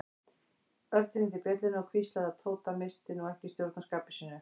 Örn hringdi bjöllunni og hvíslaði að Tóta að missa nú ekki stjórn á skapi sínu.